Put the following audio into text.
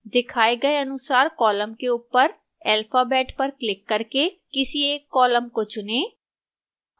दिखाए गए अनुसार column के ऊपर alphabet पर क्लिक करके किसी एक column को चुनें